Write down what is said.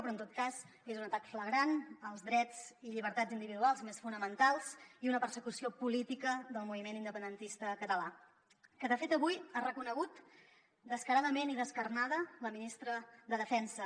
però en tot cas és un atac flagrant als drets i llibertats individuals més fonamentals i una persecució política del moviment independentista català que de fet avui ha reconegut descaradament i descarnada la ministra de defensa